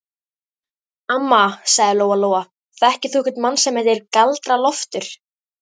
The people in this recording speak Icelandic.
Amma, sagði Lóa Lóa, þekkir þú einhvern mann sem heitir Galdra-Loftur?